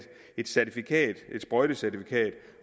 et sprøjtecertifikat